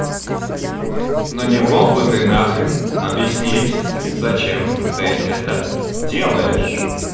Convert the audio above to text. но не мог бы ты на хрен объяснить зачем ты это делаешь